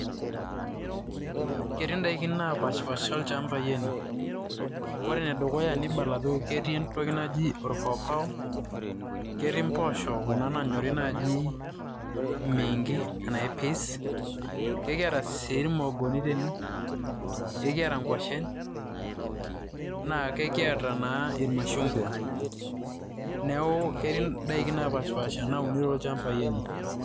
Ketii indaikin napaashpaasha o ilchambai ene. Kore ene dukuya nibala ajo ketii entoki naji orpaopao, ketii mboosho kuna nanyori naaji mengi arashu peas, Kekiata sii irmoogoni tene, kekiata ng'washen, naa kekiata naa irmashung'wa neeku ketii indaiki napaashipasha nauni toolchambai ene.